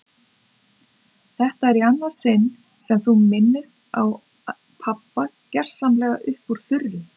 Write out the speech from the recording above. Þetta er í annað sinn sem þú minnist á pabba gersamlega upp úr þurru.